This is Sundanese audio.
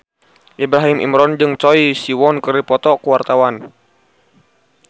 Ibrahim Imran jeung Choi Siwon keur dipoto ku wartawan